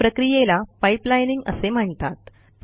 या प्रक्रियेला पाइपलाईनिंग असे म्हणतात